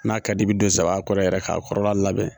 N'a ka d'i ye i bi don saban kɔrɔ yɛrɛ k'a kɔrɔ labɛn.